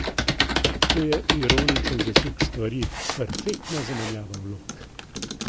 To je ironičen zasuk stvari, perfektna zamenjava vlog.